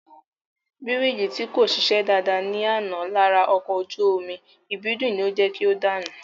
Bírìjì tí kò ṣiṣẹ́ dáadáa ní àná lára ọkọ̀ ojú omi Ìbídùn ni ó jẹ́ kí o dànù